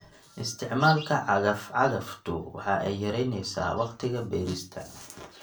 Isticmaalka cagaf-cagaftu waxa ay yaraynaysaa wakhtiga beerista.